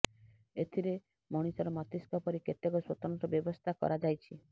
ଏଥିରେ ମଣିଷର ମସ୍ତିଷ୍କ ପରି କେତକ ସ୍ୱତନ୍ତ୍ର ବ୍ୟବସ୍ଥା କରାଯାଇଛି